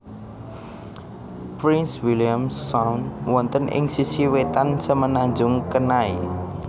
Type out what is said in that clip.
Prince William Sound wonten ing sisi wetan Semenanjung Kenai